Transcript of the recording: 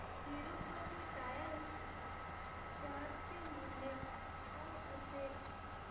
Tirupati tyres share चे मूल्य काय असेल